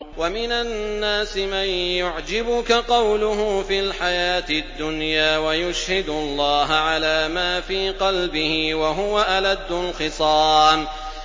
وَمِنَ النَّاسِ مَن يُعْجِبُكَ قَوْلُهُ فِي الْحَيَاةِ الدُّنْيَا وَيُشْهِدُ اللَّهَ عَلَىٰ مَا فِي قَلْبِهِ وَهُوَ أَلَدُّ الْخِصَامِ